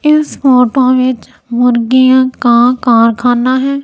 इस फोटो वीच मुर्गियां का कारखाना हैं।